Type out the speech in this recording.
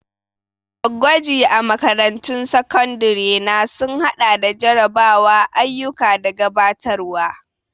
Gwaji a makarantun sakandare na sun haɗa da jarrabawa, ayyuka da gabatarwa.